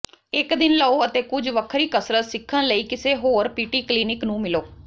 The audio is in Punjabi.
ਇੱਕ ਦਿਨ ਲਓ ਅਤੇ ਕੁਝ ਵੱਖਰੀ ਕਸਰਤ ਸਿੱਖਣ ਲਈ ਕਿਸੇ ਹੋਰ ਪੀਟੀ ਕਲੀਨਿਕ ਨੂੰ ਮਿਲੋ